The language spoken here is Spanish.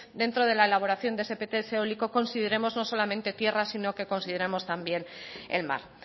dentro de la elaboración de ese pts eólico consideremos no solamente tierra sino que consideremos también el mar